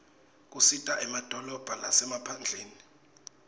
kisita emadolobha lasemaphndleni